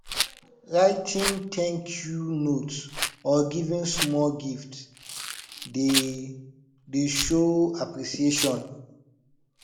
writing thank you note or giving small gift dey dey show appreciation